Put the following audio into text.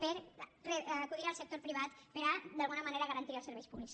per acudir al sector privat per d’alguna manera garantir els serveis públics